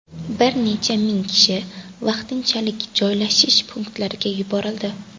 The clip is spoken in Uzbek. Bir necha ming kishi vaqtinchalik joylashish punktlariga yuborildi.